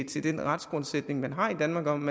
til den retsgrundsætning vi har i danmark om